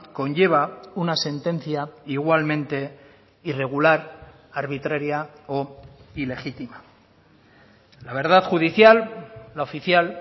conlleva una sentencia igualmente irregular arbitraria o ilegítima la verdad judicial la oficial